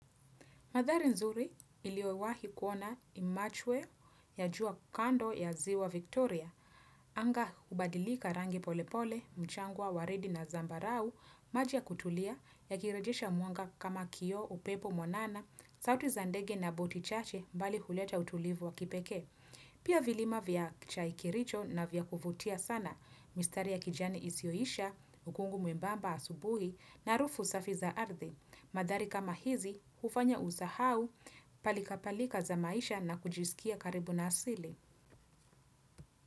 Madhari nzuri niliowahi kuona ni machwe ya jua kando ya ziwa Victoria. Anga hubadilika rangi polepole, mchangwa, waridi na zambarau, maji ya kutulia ya kirejesha mwanga kama kioo, upepo, mwanana, sauti za ndege na botichache mbali huleta utulivu wa kipeke. Pia vilima vya chai kericho na vya kuvutia sana. Mistari ya kijani isioisha, ukungu mwembamba asubuhi na harufu safi za ardhi. Madhari kama hizi, ufanya usahau palika palika za maisha na kujisikia karibu na asili.